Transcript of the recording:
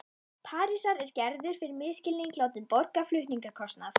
Parísar er Gerður fyrir misskilning látin borga flutningskostnað.